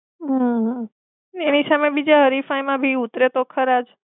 હમ એની સામે બીજા હરીફાઈમાં બી ઉતરે તો ખરાજ.